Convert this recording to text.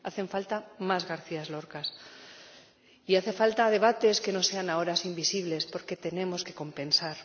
Hacen falta más Garcías Lorcas, y hacen falta debates que no sean a horas invisibles, porque tenemos que compensar.